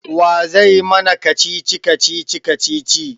Wa zai mana kacici-kacici kacici?